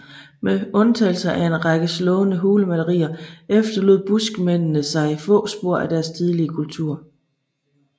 Med undtagelse af en række slående hulemalerier efterlod buskmændene sig få spor af deres tidlige kultur